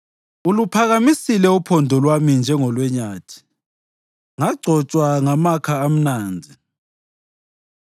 Uluphakamisile uphondo lwami njengolwenyathi; ngagcotshwa ngamakha amnandi.